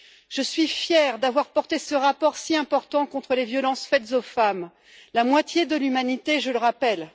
Je suis fière d'avoir porté ce rapport si important contre les violences faites aux femmes, la moitié de l'humanité, je le rappelle.